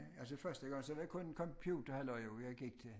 Altså første gang så var det kun computerhalløj jo jeg gik til